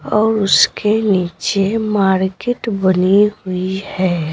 और उसके नीचे मार्केट बनी हुई है।